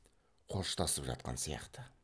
қоштасып жатқан сияқты